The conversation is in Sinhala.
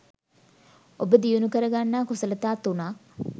ඔබ දියුණු කරගන්නා කුසලතා තුනක්